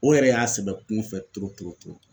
O yɛrɛ y'a sɛbɛ kun fɛ